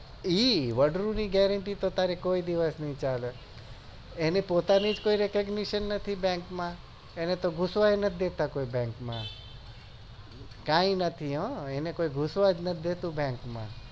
એ વાદ્રું ની gerenty તો ત્યારે કોઈ દિવસ ની ચાલે એની પોતાની જ કોઈ repotashan bank માં એને તો ગુસવા જ નહી દેતા કોઈ bank માં કઈ નથી હમ એને કોઈ ઘુસવા જ નથ દેતા bank માં